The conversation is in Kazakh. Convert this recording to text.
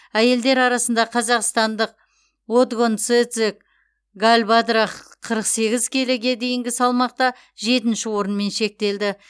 әйелдер арасында қазақстандық отгонцэцэг галбадрах қырық сегіз келіге дейінгі салмақта жетінші орынмен шектелді